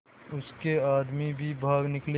उसके आदमी भी भाग निकले